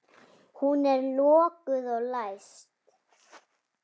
Hún er lokuð og læst.